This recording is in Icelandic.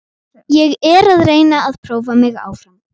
Ég er að reyna að prófa mig áfram.